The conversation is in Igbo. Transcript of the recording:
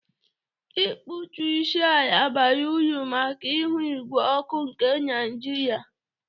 Ịkpụtụ isi ala bara uru maka ihu ígwé ọkụ nke Naịjirịa.